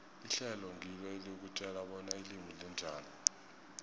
ihlelo ngilo elikutjela bona ilimi linjani